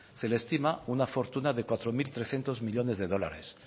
se le estima una fortuna de cuatro mil trescientos millónes de dólares